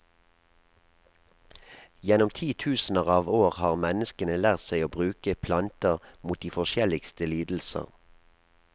Gjennom titusener av år har menneskene lært seg å bruke planter mot de forskjelligste lidelser.